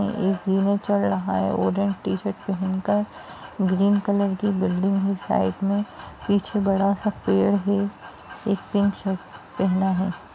अ एक सीढ़ियां चढ़ रहा है ऑरेंज टी-शर्ट पेहन कर ग्रीन कलर की बिल्डिंग है साइड में पीछे बड़ा-सा पेड़ है एक पिंक शर्ट पहना है।